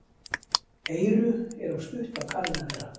Eyru eru stutt af kanínu að vera.